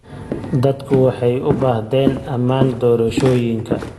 Dadku waxay u baahdeen ammaan doorashooyinka.